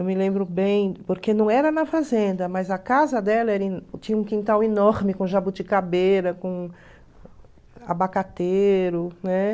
Eu me lembro bem, porque não era na fazenda, mas a casa dela era em tinha um quintal enorme com jabuticabeira, com abacateiro.